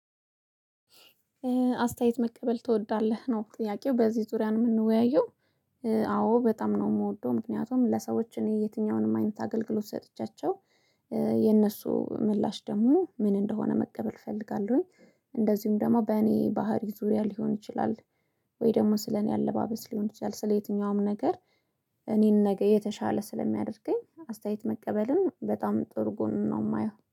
አስተያየት መቀበል ትወዳለህ ነው ጥያቄው በዚህ ዙሪያ ነው ምንወያየው። አዎ በጣም ነው ምወደው ምክንያቱም ለሰዎች እኔ የትኛውንም አይነት አገልግሎት ሰጥቻቸው የነሱ ምላሽ ደሞ ምን እንደሆነ መቀበል እፈልጋለሁኝ። እንደዚሁም ደሞ በእኔ ባህሪ ዙሪያ ሊሆን ይችላል። ወይ ደሞ ስለኔ አለባበስ ሊሆን ይችላል ስለየትኛውም ነገር። እኔን ነገ የተሻለ ስለሚያደርገኝ አስተያየት መቀበልን በጣም ጥሩ ጉኑን ነው ማየው